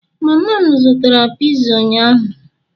mama m mere piza ụnyaahụ